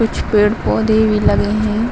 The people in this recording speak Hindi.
कुछ पेड़ पौधे भी लगे हैं।